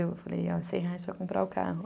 Eu falei, ó, cem reais para comprar o carro.